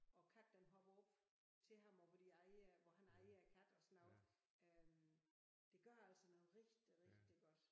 Og katten den hopper til ham og hvor de aer hvor han aer katten og sådan noget øh det gør altså noget rigtig rigtig godt